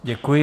Děkuji.